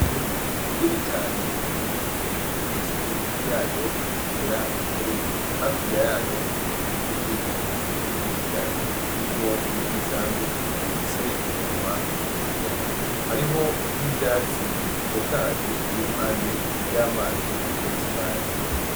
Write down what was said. Inyoni nini cane irikumwe n'imiswi yayo igera kuri indwi hakurya yayo hari izindi nyoni nyisi cane zirimwo n'imisambi zifise iminwa mu remure hariho n'ivyatsi bitotahaye biri impande y'amazi meshi cane .